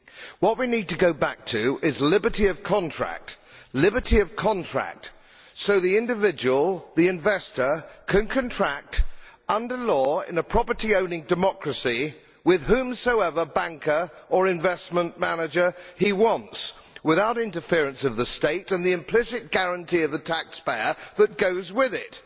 What we need to go back to is liberty of contract so that the individual, the investor, can contract under law in a property owning democracy with whomsoever banker or investment manager he wants, without the interference of the state and the implicit guarantee of the taxpayer that goes with it.